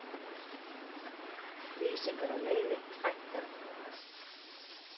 Lýsingar á leiði hækka